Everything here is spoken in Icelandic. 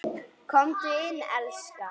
Komdu inn, elskan!